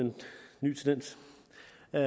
er